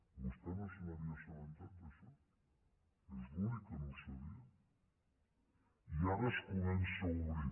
i vostè no se n’havia assabentat d’això és l’únic que no ho sabia i ara es comença a obrir